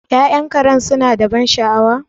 Ya'yan Karen suna da ban sha'awa?